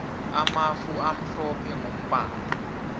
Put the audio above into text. amafu amhlophe mgombala